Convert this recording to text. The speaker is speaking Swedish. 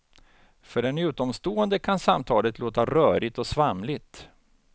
För en utomstående kan samtalet låta rörigt och svamligt.